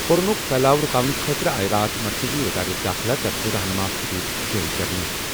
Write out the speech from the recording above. کوروناہُک پھیلاؤ رُکاونہٕ خٲطرٕ آیہِ راتھ مرکزی وزارت داخلہ طرفہٕ رہنما خطوط جٲری کرنہٕ۔